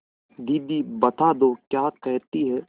दीदी बता दो क्या कहती हैं